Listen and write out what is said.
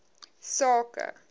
sake